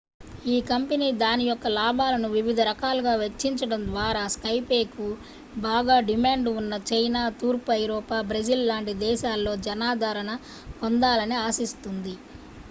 ఈ కంపెనీ దాని యొక్క లాభాలను వివిధ రకాలుగా వెచ్చించడం ద్వారా skypeకు బాగా డిమాండ్ ఉన్న చైనా తూర్పు ఐరోపా బ్రెజిల్ లాంటి దేశాలలో జనాదరణను పొందాలని ఆశిస్తోంది